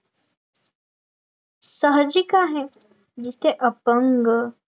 सहाजिक आहे येथे अपंग